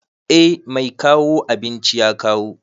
Eh mai kawo abinci ya kawo.